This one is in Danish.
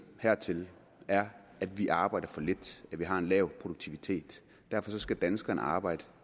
hertil er at vi arbejder for lidt at vi har en lav produktivitet derfor skal danskerne arbejde